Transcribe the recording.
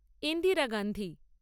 Indira Gandhi